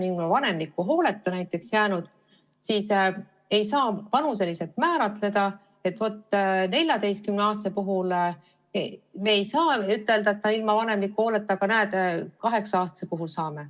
Vanemliku hooleta jäämist ei saa vanuseliselt määrata, et vot 14-aastase puhul me ei saa ütelda, et ta on vanemliku hooleta jäetud, aga 8-aastase puhul saame.